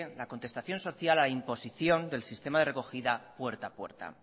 la contestación social a la imposición del sistema de recogida puerta a puerta